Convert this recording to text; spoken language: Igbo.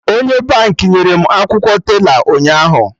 Onye Baankị nyere m akwụkwọ tela ụnyaahụ